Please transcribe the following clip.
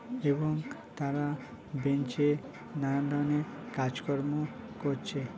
এবং তারা বেঞ্চ -এ নানান ধরণের কাজকর্ম করছে।